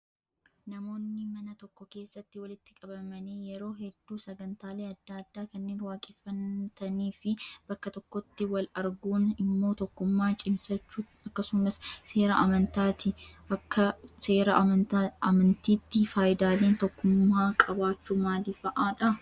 Namoonni mana tokko keessatti walitti qabamanii yeroo hedduu sagantaalee adda addaa kanneen waaqeffatanii fi bakka tokkotti wal arguun immoo tokkummaa cimsachuu akkasumas seera amantaati. Akka seera amantiitti fayidaaleen tokkummaa qabaachuu maal fa'aa?